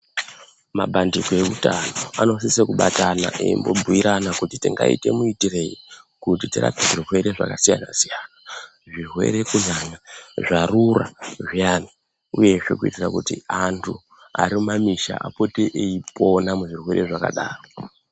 Mapandiko eutano anosise kubatana eimbobhuyirana kuti tingaite muitiroyi kuti tirape zvirwere zvakasiyana siyana. Zvirwere kunyanya zvarura zviyana, uyezve kuitira kuti antu ari mumamisha apote eyipona muzvirwere zvakadaro.